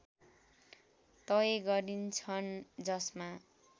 तय गरिन्छन् जसमा